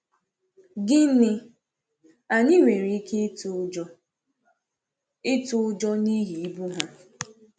Gịnị, anyị nwere ike ịtụ ụjọ ịtụ ụjọ n’ihi ibu ha!